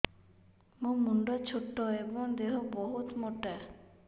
ମୋ ମୁଣ୍ଡ ଛୋଟ ଏଵଂ ଦେହ ବହୁତ ମୋଟା